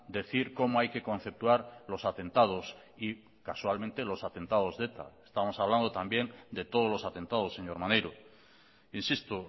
decir cómo hay que conceptuar los atentados y casualmente los atentados de eta estamos hablando también de todos los atentados señor maneiro insisto